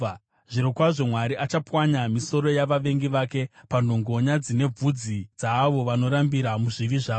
Zvirokwazvo Mwari achapwanya misoro yavavengi vake, panhongonya dzine vhudzi dzaavo vanorambira muzvivi zvavo.